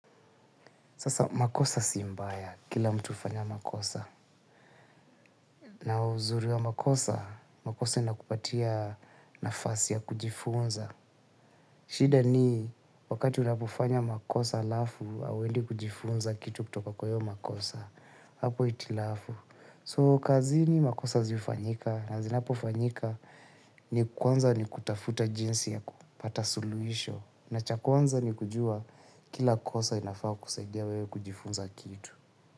Sasa makosa si mbaya, kila mtu hufanya makosa. Na uzuri wa makosa, makosa inakupatia nafasi ya kujifunza. Shida ni wakati unapofanya makosa alafu, auwendi kujifunza kitu kutoka kwa hiyo makosa. Hapo itilafu. So kazini makosa zi hufanyika, na zinapofanyika ni kwanza ni kutafuta jinsi ya kupata suluhisho. Na cha kwanza nikujua kila kosa inafaa kusaidia wewe kujifunza kitu.